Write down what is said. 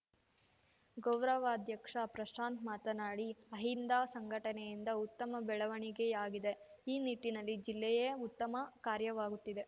ಗೌರವಾಧ್ಯಕ್ಷ ಪ್ರಶಾಂತ್‌ ಮಾತನಾಡಿ ಅಹಿಂದ ಸಂಘಟನೆಯಿಂದ ಉತ್ತಮ ಬೆಳವಣಿಗೆಯಾಗಿದೆ ಈ ನಿಟ್ಟಿನಲ್ಲಿ ಜಿಲ್ಲೇಯೇ ಉತ್ತಮ ಕಾರ್ಯವಾಗುತ್ತಿದೆ